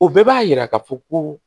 O bɛɛ b'a yira ka fɔ ko